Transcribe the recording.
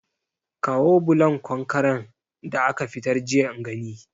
Kawo bulon konkaren da aka fitar jiya in gani